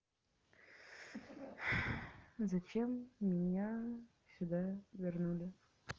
зачем меня сюда вернули